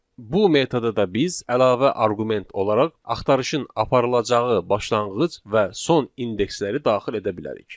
Bu metoda da biz əlavə arqument olaraq axtarışın aparılacağı başlanğıc və son indeksləri daxil edə bilərik.